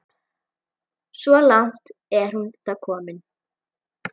Svo langt er hún þó komin.